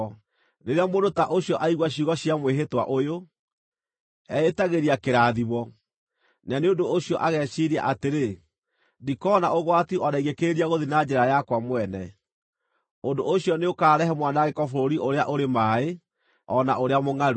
Rĩrĩa mũndũ ta ũcio aigua ciugo cia mwĩhĩtwa ũyũ, eĩtagĩria kĩrathimo, na nĩ ũndũ ũcio ageciiria atĩrĩ, “Ndikona ũgwati o na ingĩkĩrĩria gũthiĩ na njĩra yakwa mwene.” Ũndũ ũcio nĩũkarehe mwanangĩko bũrũri ũrĩa ũrĩ maaĩ, o na ũrĩa mũngʼaru.